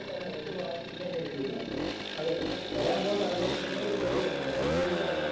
അതേയതേ നമ്മള് അതെ നമ്മള് വരാൻപോകുന്ന തലമുറയ്ക്ക് എന്തെങ്കിലും ഒന്നു ചെയ്തു കൊടുക്കണ്ടേ? ഒരു ചൂണ്ടുപലക.